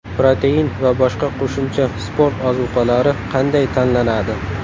Protein va boshqa qo‘shimcha sport ozuqalari qanday tanlanadi?.